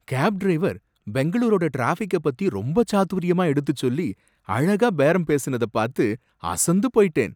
Gap driver பெங்களூரோட traffic பத்தி ரொம்ப சாதுர்யமா எடுத்துச்சொல்லி அழகா பேரம் பேசுனத பாத்து அசந்து போயிட்டேன்.